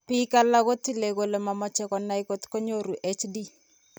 Biik alak ko tile kole mameche konai kot ko nyoru HD.